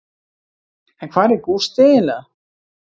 En hvar er Gústi eiginlega?